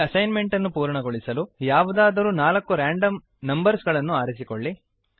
ಈ assignment ಅನ್ನು ಪೂರ್ಣಗೊಳಿಸಲು ಯಾವುದಾದರೂ ನಾಲ್ಕು ರೆಂಡಮ್ ನಂಬರ್ಸ್ ಗಳನ್ನು ಆರಿಸಿಕೊಳ್ಳಿ